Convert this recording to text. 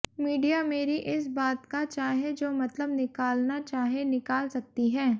media मेरी इस बात का चाहे जो मतलब निकालना चाहे निकाल सकती हैं